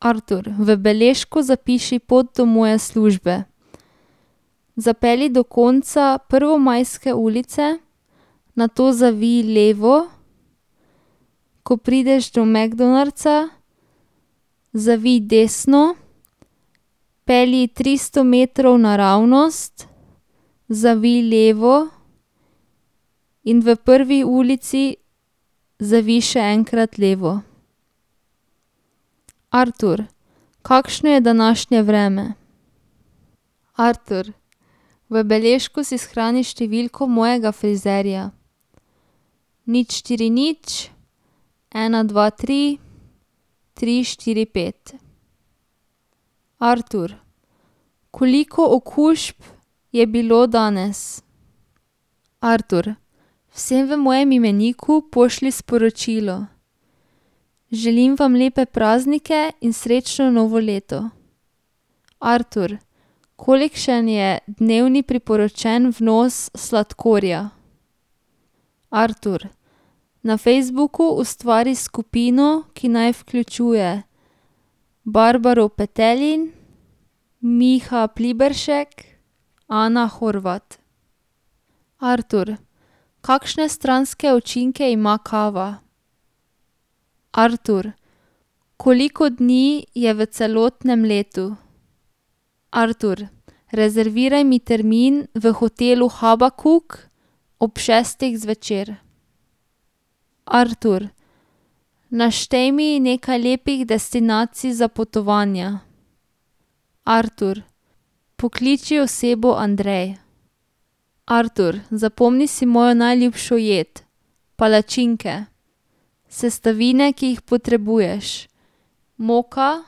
Artur, v beležko zapiši pot do moje službe. Zapelji do konca Prvomajske ulice, nato zavij levo, ko prideš do McDonald'sa, zavij desno, pelji tristo metrov naravnost, zavij levo in v prvi ulici zavij še enkrat levo. Artur, kakšne je današnje vreme? Artur, v beležko si shrani številko mojega frizerja. nič štiri nič ena dva tri tri štiri pet. Artur, koliko okužb je bilo danes? Artur, vsem v mojem imeniku pošlji sporočilo: "Želim vam lepe praznike in srečno novo leto." Artur, kolikšen je dnevni priporočeni vnos sladkorja? Artur, na Facebooku ustvari skupino, ki naj vključuje [ime in priimek] [ime in priimek] [ime in priimek] . Artur, kakšne stranske učinke ima kava? Artur, koliko dni je v celotnem letu? Artur, rezerviraj mi termin v hotelu Habakuk ob šestih zvečer. Artur, naštej mi nekaj lepih destinacij za potovanja. Artur, pokliči osebo Andrej. Artur, zapomni si mojo najljubšo jed: palačinke. Sestavine, ki jih potrebuješ: moka,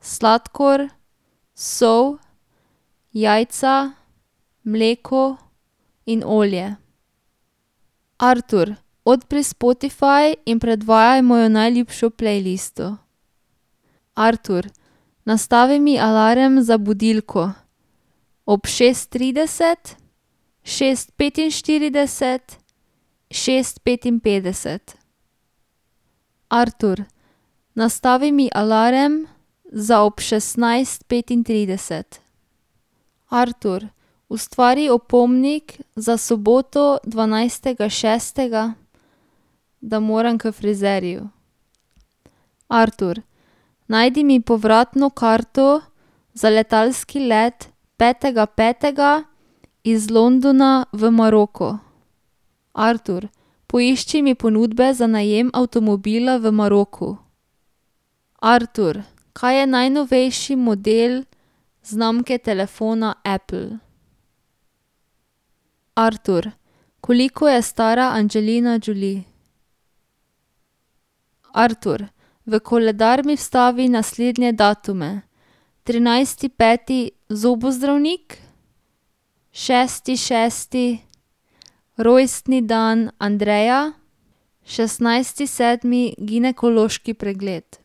sladkor, sol, jajca, mleko in olje. Artur, odpri Spotify in predvajaj mojo najljubšo playlisto. Artur, nastavi mi alarm za budilko ob šest trideset, šest petinštirideset, šest petinpetdeset. Artur, nastavi mi alarm za ob šestnajst petintrideset. Artur, ustvari opomnik za soboto dvanajstega šestega, da moram k frizerju. Artur, najdi mi povratno karto za letalski let petega petega iz Londona v Maroko. Artur, poišči mi ponudbe za najem avtomobila v Maroku. Artur, kaj je najnovejši model znamke telefona Apple. Artur, koliko je stara Angelina Jolie? Artur, v koledar mi vstavi naslednje datume: trinajsti peti zobozdravnik, šesti šesti rojstni dan Andreja, šestnajsti sedmi ginekološki pregled.